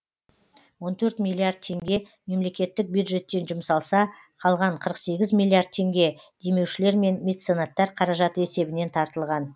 он төрт миллиард теңге мемлекеттік бюджеттен жұмсалса қалған қырық сегіз миллиард теңге демеушілер мен меценаттар қаражаты есебінен тартылған